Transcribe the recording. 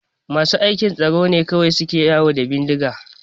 Masu aikin tsaro ne kawai suke yawo da bindiga